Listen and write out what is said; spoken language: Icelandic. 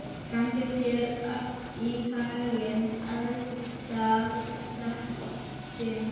Gangi þér allt í haginn, Aðalsteinn.